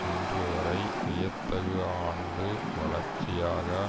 இன்று வரை வியத்தகு ஆண்டு வளர்ச்சியாக